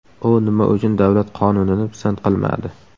U nima uchun davlat qonunini pisand qilmadi?